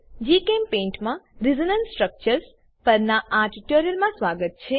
જીચેમ્પેઇન્ટ માં resonance structures પરનાં આ ટ્યુટોરીયલમાં સ્વાગત છે